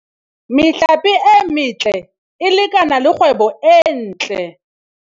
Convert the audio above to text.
Mehlape e metle e lekana le kgwebo e ntle.